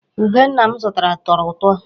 Ube nna m zụtara tọrọ ụtọ.